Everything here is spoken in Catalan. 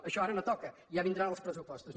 això ara no toca ja vindran els pressupostos